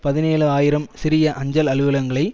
பதினேழு ஆயிரம் சிறிய அஞ்சல் அலுவலகங்களை